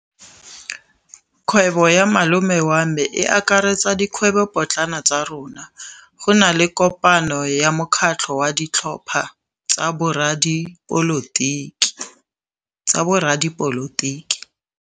Kgwêbô ya malome wa me e akaretsa dikgwêbôpotlana tsa rona. Go na le kopanô ya mokgatlhô wa ditlhopha tsa boradipolotiki.